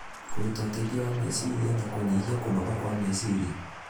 kũruta ũteithio wa meciria na kũnyihia kũnoga kwa meciria.